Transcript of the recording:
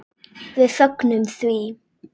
Við fögnum því.